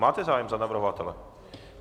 Máte zájem za navrhovatele.